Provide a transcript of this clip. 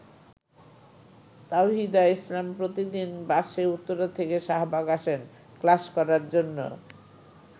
তাওহিদা ইসলাম প্রতিদিন বাসে উত্তরা থেকে শাহবাগ আসেন ক্লাস করার জন্য।